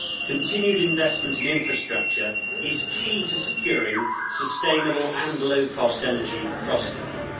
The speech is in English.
Continued investment in infrastructure is key to securing sustainable and low cost energy across the EU.